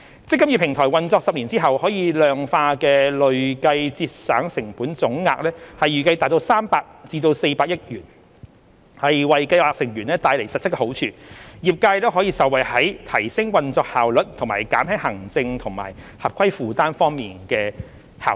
"積金易"平台運作10年後可量化的累計節省成本總額預計達300億元至400億元，為計劃成員帶來實質好處，業界也可受惠於在提升運作效率及減輕行政和合規負擔方面的效益。